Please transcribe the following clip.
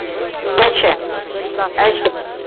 ਅਸ਼ਾ ਅਸ਼ਾ